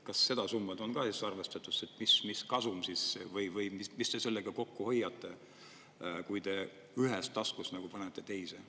Kas seda summat on ka siis arvestatud, mis kasum või mis te sellega kokku hoiate, kui te ühest panete taskust teise?